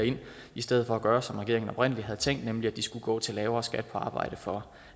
i stedet for at gøre som regeringen oprindelig havde tænkt nemlig at de skulle gå til lavere skat på arbejde for